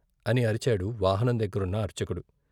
" అని అరిచాడు వాహనం దగ్గరున్న అర్చకుడు.